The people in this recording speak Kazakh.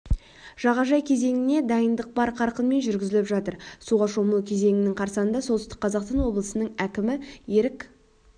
жағажай кезеңіне дайындық бар қарқынмен жүргізіліп жатыр суға шомылу кезеңінің қарсанында солтүстік қазақстан облысының әкімі ерік